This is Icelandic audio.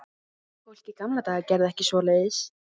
Fólk í gamla daga gerði ekki svoleiðis.